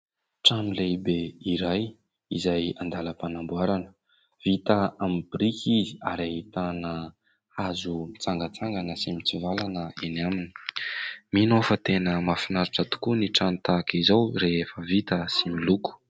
Trano lehibe iray izay an-dalam-panamboarana, vita aminy birika izy ary ahitana hazo mitsangantsangana sy mitsivalana eny aminy. Mino aho fa tena mahafinaritra tokoa ny trano tahaka izao rehefa vita sy miloko.